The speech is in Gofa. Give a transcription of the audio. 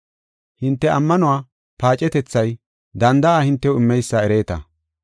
Hinte ammanuwa paacetethay danda7a hintew immeysa ereeta.